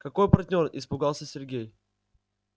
какой партнёр испугался сергей